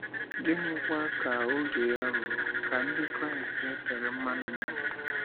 Gịnịkwa ka oge ya rụrụ ka Ndị Kraịst e tere mmanụ mee?